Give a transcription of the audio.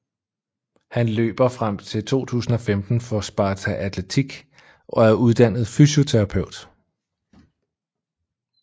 Han løber frem til 2015 for Sparta Atletik og er uddannet fysioterapeut